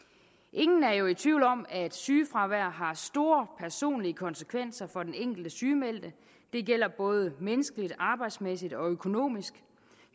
ingen er jo i tvivl om at sygefravær har store personlige konsekvenser for den enkelte sygemeldte det gælder både menneskeligt arbejdsmæssigt og økonomisk